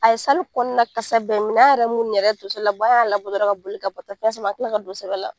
A ye kɔnɔna kasa bɛɛ minɛ an yɛrɛ munnu yɛrɛ ye tonso labɔ an y'a labɔ dɔrɔn ka boli ka bɔ